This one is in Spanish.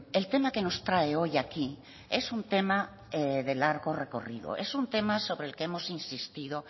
el tema que nos trae hoy aquí es un tema de largo recorrido es un tema sobre el que hemos insistido